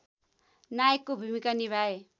नायकको भूमिका निभाए